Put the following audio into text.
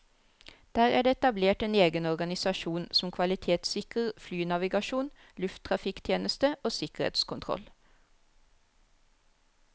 Der er det etablert en egen organisasjon som kvalitetssikrer flynavigasjon, lufttrafikktjeneste og sikkerhetskontroll.